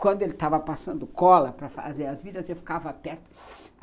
Quando ele estava passando cola para fazer as vidas, eu ficava perto